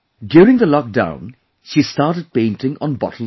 During the lockdown, she started painting on bottles too